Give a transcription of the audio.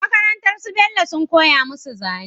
Makarantar su bello sun koya musu zane